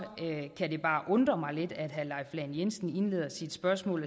kan det bare undrer mig lidt at herre leif lahn jensen indleder sit spørgsmål